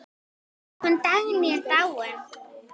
Hún Dagný er dáin.